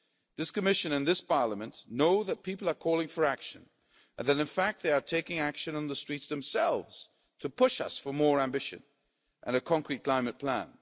This Commission and this Parliament know that people are calling for action, and that in fact they are taking action on the streets themselves to push us for more ambition and a concrete climate plan.